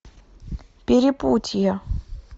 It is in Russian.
перепутье